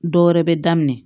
Dɔwɛrɛ bɛ daminɛ